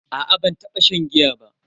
A'a ban taba shan giya ba.